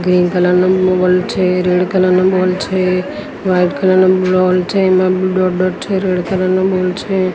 Green colour નુ છે red colour નુ છે વ્હાઇટ કલર નુ છે એમા ડોટ ડોટ છે રેડ કલર નુ છે.